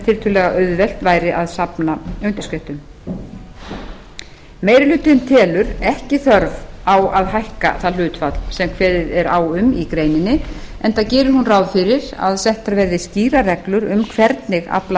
tiltölulega auðvelt væri að safna undirskriftum meiri hlutinn telur ekki þörf á að hækka það hlutfall sem kveðið er á um í greininni enda gerir hún ráð fyrir að settar verði skýrar reglur um hvernig afla